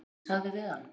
Svo ég sagði við hann